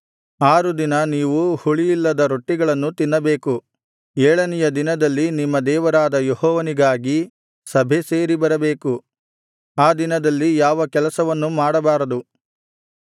ಆರು ದಿನ ನೀವು ಹುಳಿಯಿಲ್ಲದ ರೊಟ್ಟಿಗಳನ್ನು ತಿನ್ನಬೇಕು ಏಳನೆಯ ದಿನದಲ್ಲಿ ನಿಮ್ಮ ದೇವರಾದ ಯೆಹೋವನಿಗಾಗಿ ಸಭೆ ಸೇರಿಬರಬೇಕು ಆ ದಿನದಲ್ಲಿ ಯಾವ ಕೆಲಸವ ಮಾಡಬಾರದು